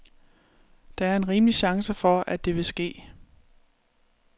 Der er en rimelig chance for, at det vil ske.